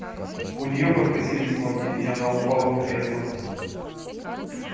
у нее подкосились ноги и она упала в кресло